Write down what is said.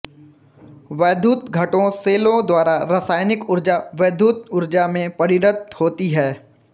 वैद्युत घटों सेलों द्वारा रासायनिक ऊर्जा वैद्युत ऊर्जा में परिणत होती है